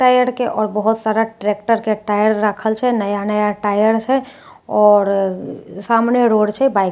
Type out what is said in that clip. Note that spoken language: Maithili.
टायर के आओर बहोत सारा ट्रैक्टर के टायर राखल छे नया नया टायर छै आओर सामने रोड छे बाइक --